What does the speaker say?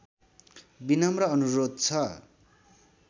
विनम्र अनुरोध छ